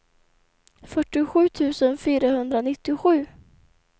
fyrtiosju tusen fyrahundranittiosju